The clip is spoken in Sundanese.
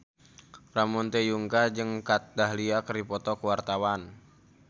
Ramon T. Yungka jeung Kat Dahlia keur dipoto ku wartawan